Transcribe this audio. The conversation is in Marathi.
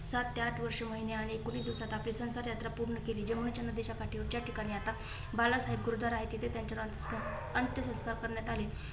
साठ ते आठ वर्षे महिने आणि एकोणीस दिवसात आपली संसार यात्रा पूर्ण केली. जेव्हा नदीच्या काठी त्या ठिकाणी आता बालासाहेब गुरुद्वारा आहे. तिथे त्यानंतर त्यांच्यावर अंत्यसंस्कार करण्यात आले.